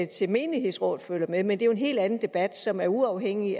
til menighedsrådet følger med men det er jo en helt anden debat som er uafhængig